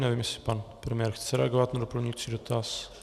Nevím, jestli pan premiér chce reagovat na doplňující dotaz.